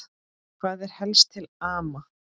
Hvað er helst til ama?